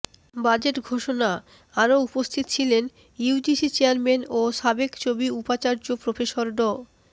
budget ঘোষণা আরো উপস্থিত ছিলেন ইউজিসি চেয়ারম্যান ও সাবেক চবি উপাচার্য প্রফেসর ড